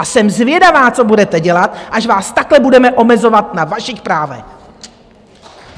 A jsem zvědavá, co budete dělat, až vás takhle budeme omezovat na vašich právech.